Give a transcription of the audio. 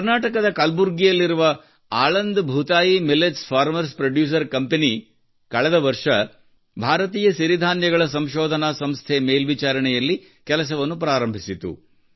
ಕರ್ನಾಟಕದ ಕಲಬುರ್ಗಿಯಲ್ಲಿರುವ Aland Bhutayi Aland Bhutayi millets farmers producer ಕಂಪನಿಯು ಕಳೆದ ವರ್ಷ ಭಾರತೀಯ ಸಿರಿಧಾನ್ಯಗಳ ಸಂಶೋಧನಾ ಸಂಸ್ಥೆ ಮೇಲ್ವಿಚಾರಣೆಯಲ್ಲಿ ಕೆಲಸವನ್ನು ಪ್ರಾರಂಭಿಸಿತು